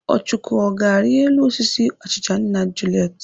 Ọchụko, ọ ga-arị elu osisi achịcha nna Juliet?